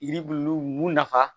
Yiri bulu mun nafa